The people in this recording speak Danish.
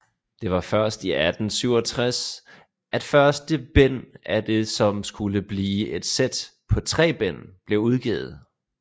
Det var først i 1867 at første bind af det som skulle blive et sæt på tre bind blev udgivet